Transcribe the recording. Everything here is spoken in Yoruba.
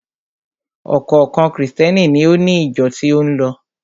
Ọ̀kọ̀ọ̀kan Krìstẹ́ni ni ó ni ìjọ tí ó ń lọ.